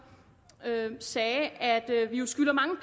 sagde at vi jo skylder mange